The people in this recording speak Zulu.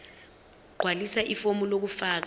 gqwalisa ifomu lokufaka